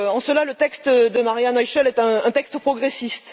En cela, le texte de Maria Noichl est un texte progressiste.